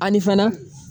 Ani fana